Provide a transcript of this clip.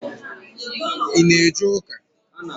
I ná eje ụka?